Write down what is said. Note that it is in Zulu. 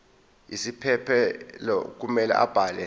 isiphephelo kumele abhale